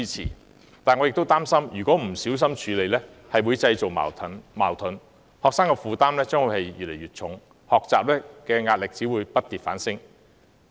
然而，我亦擔心不小心處理將會製造矛盾，學生的負擔只會越來越重，學習壓力不跌反升。